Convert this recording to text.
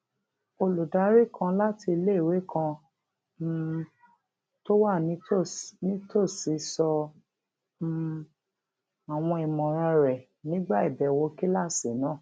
olùdarí kan láti iléìwé kan um tó wà nítòsí sọ um àwọn ìmọràn rẹ nígbà ìbèwò kíláàsì náà